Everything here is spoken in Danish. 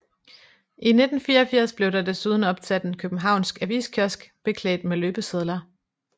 I 1984 blev der desuden opsat en københavnsk aviskiosk beklædt med løbesedler